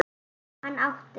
Hann átti